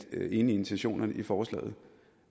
er enig i intentionerne i forslaget